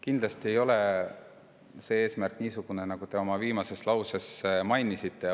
Kindlasti ei ole see eesmärk niisugune, nagu te oma viimases lauses ütlesite.